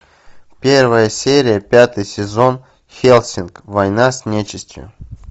первая серия пятый сезон хеллсинг война с нечистью